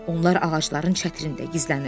Onlar ağacların çətirində gizlənir.